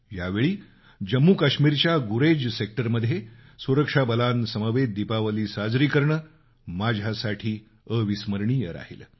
यावेळी जम्मूकाश्मीरच्या गुरेज सेक्टरमध्ये सुरक्षा बलांसमवेत दीपावली साजरी करणं माझ्यासाठी अविस्मरणीय राहिलं